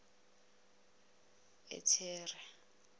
uthera